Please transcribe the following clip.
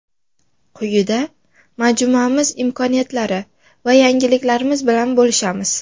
Quyida majmuamiz imkoniyatlari va yangiliklarimiz bilan bo‘lishamiz.